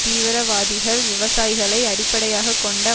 தீவிரவாதிகள் விவசாயிகளை அடிப்படையாக கொண்ட